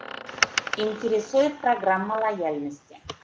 интересует программа лояльности